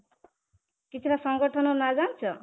କିଛି ଟା ସଂଗଠନ ନାଁ ଜାଣିଛ?